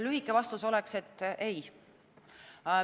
Lühike vastus oleks, et ei.